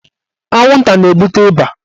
Anwụnta na-ebute ịba.